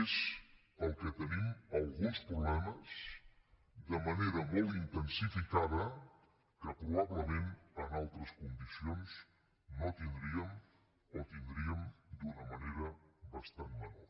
és pel que tenim alguns problemes de manera molt intensificada que probablement en altres condicions no tindríem o tindríem d’una manera bastant menor